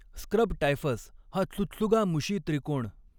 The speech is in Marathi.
स्क्रब टायफस हा त्सुत्सुगामुशी त्रिकोण